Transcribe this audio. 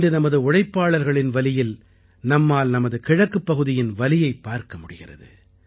இன்று நமது உழைப்பாளர்களின் வலியில் நம்மால் நமது கிழக்குப் பகுதியின் வலியைப் பார்க்க முடிகிறது